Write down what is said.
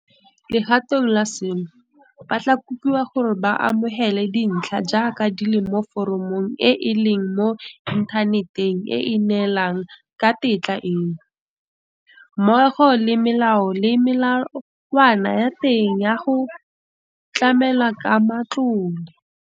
Legatong la seno, ba tla kopiwa gore ba amogele dintlha jaaka di le mo foromong e e leng mo inthaneteng e e neelanang ka tetla eno, mmogo le melao le melawana ya teng ya go tlamelwa ka matlole.